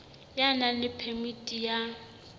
ya nang le phemiti ya